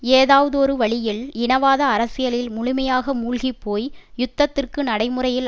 ஏதாவதொரு வழியில் இனவாத அரசியலில் முழுமையாக மூழ்கி போய் யுத்தத்திற்கு நடைமுறையில்